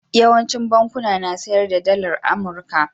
Yawaicin bankuna na sayar da Dalar Amurka.